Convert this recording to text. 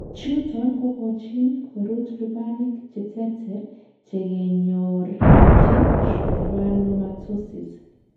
Chuton kokochin korut lubanik cheterter chekenyorchin schwannomatosis.